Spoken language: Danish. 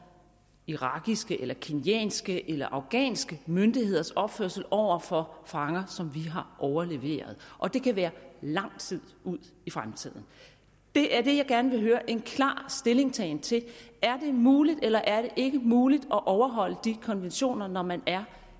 irakiske eller kenyanske eller afghanske myndigheders opførsel over for fanger som vi har overleveret og det kan være lang tid ud i fremtiden det er det jeg gerne vil høre en klar stillingtagen til er det muligt eller er det ikke muligt at overholde de konventioner når man er